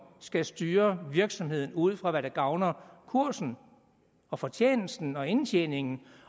skal styre virksomheden ud fra hvad der gavner kursen og fortjenesten og indtjeningen